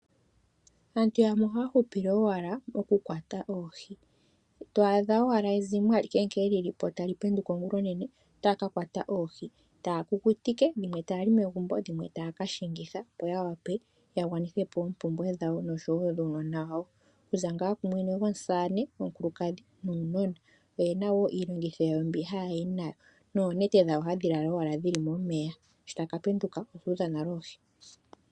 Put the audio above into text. Aantu yamwe ohaya hupile owala mokukwata oohi. To adha owala ezimo alihe nkene li li po tali penduka ongulonene otali ka kwata oohi taya kukutike, dhimwe taya li megumbo, dhimwe taya ka shingitha, opo ya wape ya gwanithe po oompumbwe dhawo nosho wo dhuunona wawo kuza ngaa komusamane, omukulukadhi nuunona. Oye na wo iilongitho yawo mbi haya yi nayo noonete dhawo hadhi lala owala dhi li momeya sho taya ka penduka odhu udha nale oohi.